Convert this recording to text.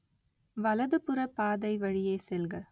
வலதுபுற பாதை வழியே செல்க